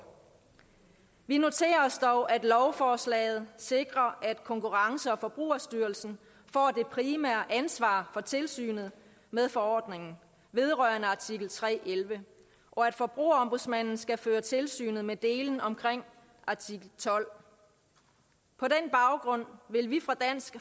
vi noterer os dog at lovforslaget sikrer at konkurrence og forbrugerstyrelsen får det primære ansvar for tilsynet med forordningen vedrørende artikel tre elleve og at forbrugerombudsmanden skal føre tilsyn med dele af artikel tolvte på den baggrund vil vi fra dansk